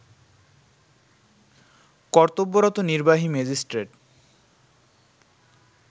কর্তব্যরত নির্বাহী ম্যাজিষ্ট্রেট